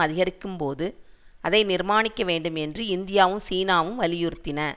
அதிகரிக்கும் போது அதை நிர்மாணிக்க வேண்டும் என்று இந்தியாவும் சீனாவும் வலியுறுத்தின